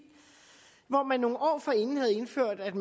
man havde nogle år forinden indført at